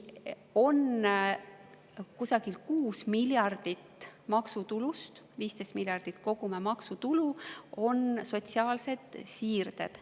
Kusagil 6 miljardit maksutulust – 15 miljardit kogume maksutulu – on sotsiaalsed siirded.